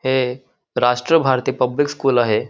हे Rashtra Bharati public school आहे.